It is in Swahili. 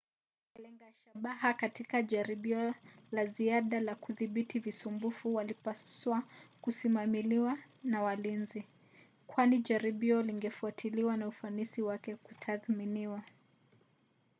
walenga shabaha katika jaribio la ziada la kudhibiti visumbufu walipaswa kusimamiwa na walinzi kwani jaribio lingefuatiliwa na ufanisi wake kutathminiwa